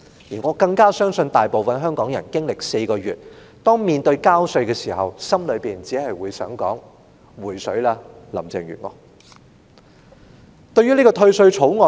而我亦更加相信大部分香港人在經歷了這4個月的事件後，在交稅時心裏也只想說："'回水'吧，林鄭月娥"。